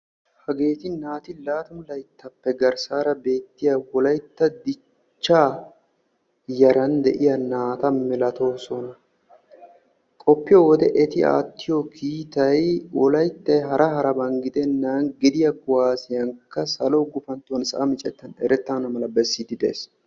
Hageeti laatammu layttappe garssan beettiya naata. etti wolaytti toho kuwasiyan salo gufantton erettaan bessees.